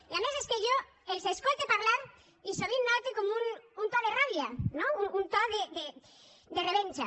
i a més és que jo els escolte parlar i sovint note com un to de ràbia no un to de revenja